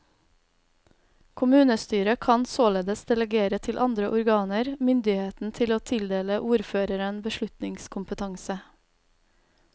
Kommunestyret kan således delegere til andre organer myndigheten til å tildele ordføreren beslutningskompetanse.